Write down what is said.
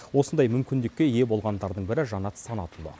осындай мүмкіндікке ие болғандардың бірі жанат санатұлы